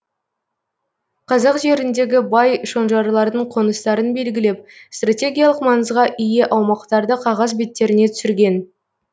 қазақ жеріндегі бай шонжарлардың қоныстарын белгілеп стратегиялық маңызға ие аумақтарды қағаз беттеріне түсірген